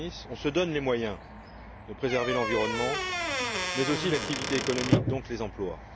Arsenis, on se donne les moyens de préserver l'environnement mais aussi l'activité économique et donc les emplois.